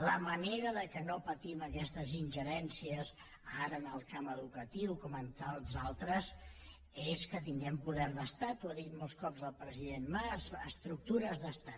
la manera que no patim aquestes ingerències ara en el camp educatiu com en tants altres és que tinguem poder d’estat ho ha dit molts cops el president mas estructures d’estat